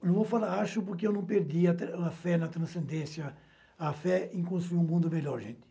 Eu vou falar acho, porque eu não perdi a a fé na transcendência, a fé em construir um mundo melhor, gente.